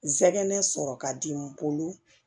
N sɛgɛn sɔrɔ ka di n bolo